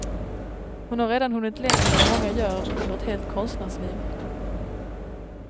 Hon har redan hunnit längre än många gör under ett helt konstnärsliv.